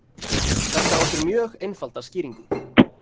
Þetta á sér mjög einfalda skýringu.